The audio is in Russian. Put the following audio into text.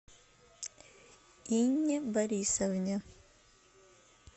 инне борисовне